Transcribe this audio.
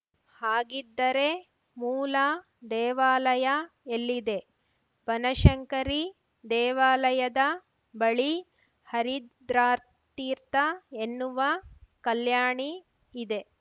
ಹಾಗಿದ್ದರೆ ಮೂಲ ದೇವಾಲಯ ಎಲ್ಲಿದೆ ಬನಶಂಕರಿ ದೇವಾಲಯದ ಬಳಿ ಹರಿದ್ರಾತೀರ್ಥ ಎನ್ನುವ ಕಲ್ಯಾಣಿ ಇದೆ